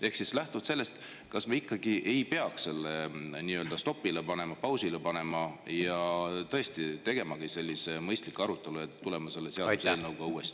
Ehk siis sellest lähtuvalt: kas me ikkagi ei peaks selle nii-öelda stopile panema, pausile panema ja tõesti tegemagi sellise mõistliku arutelu ja selle eelnõuga uuesti tulema?